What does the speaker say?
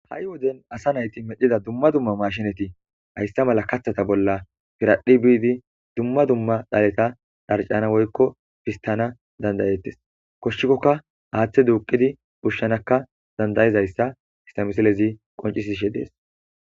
ha7i woden asa nayti medhida dumma dumma maashinati hayssa mala kathata bolla piradhi biidi dumma dumma dhaleta dharcana woykko fistana dandayettes koshshikkokka aaththe duuqidi pushshanakka dandayezayssa histamisilezi qoncisishe dees